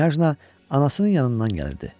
Knyajna anasının yanından gəlirdi.